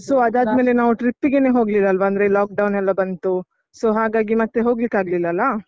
So ಅದಾದ್ಮೇಲೆ ನಾವು trip ಗೇನೆ ಹೋಗ್ಲಿಲ್ಲಲ್ವ, ಅಂದ್ರೆ ಈ lock down ಎಲ್ಲಾ ಬಂತು so ಹಾಗಾಗಿ ಮತ್ತೆ ಹೋಗ್ಲಿಕ್ಕಾಗಿಲ್ಲ ಅಲ.